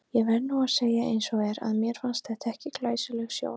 Ég verð nú að segja eins og er, að mér fannst þetta ekki glæsileg sjón.